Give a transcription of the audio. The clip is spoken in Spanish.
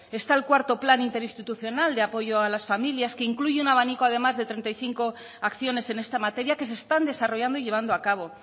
está el cuarto plan interinstitucional de apoyo a las familias que incluyen abanico además de treinta y cinco acciones en esta materia que se están desarrollando y llevando a cabo